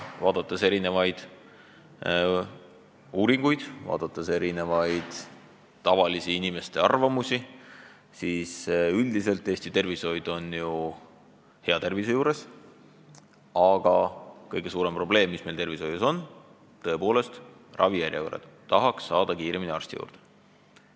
Vaadates uuringuid, vaadates tavaliste inimeste arvamusi, selgub, et üldiselt on Eesti tervishoid hea tervise juures, aga kõige suurem probleem, mis tervishoius on, on tõepoolest ravijärjekorrad, tahaks saada kiiremini arsti juurde.